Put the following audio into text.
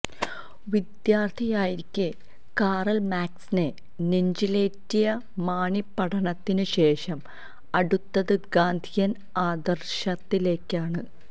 വി്ദ്യാർത്ഥിയായിരിക്കെ Karl മാക്സിനെ നെഞ്ചിലേറ്റിയ മാണി പഠനത്തിന് ശേഷം അടുത്തത് ഗാന്ധിയൻ ആദരർശത്തിലേക്കാണ്